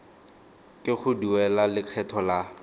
ke go duela lekgetho la